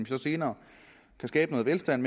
så senere kan skabe noget velstand